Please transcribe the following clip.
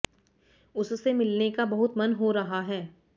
उससे मिलने का बहुत मन हो रहा है